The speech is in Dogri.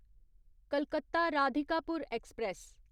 कलकत्ता राधिकापुर ऐक्सप्रैस